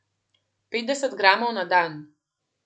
Petdeset gramov na dan.